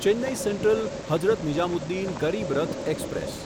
Chennai central Hazrat Nizamuddin Garib Rath express